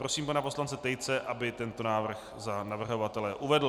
Prosím pana poslance Tejce, aby tento návrh za navrhovatele uvedl.